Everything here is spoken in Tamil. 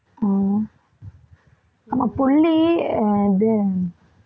உம் ஆமா புள்ளி அது